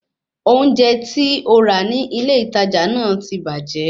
Oúnjẹ tí ó ra ní ilé ìtajà náà ti bàjẹ́